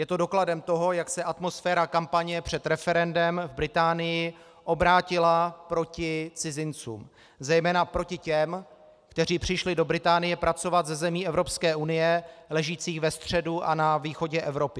Je to dokladem toho, jak se atmosféra kampaně před referendem v Británii obrátila proti cizincům, zejména proti těm, kteří přišli do Británie pracovat ze zemí Evropské unie ležících ve středu a na východě Evropy.